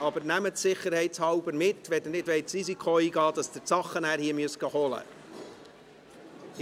Aber nehmen Sie sie sicherheitshalber mit, wenn Sie nicht das Risiko eingehen wollen, dass Sie sie dann hier holen kommen müssen.